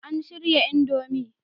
An shirya Indomie